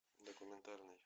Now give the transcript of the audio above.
документальный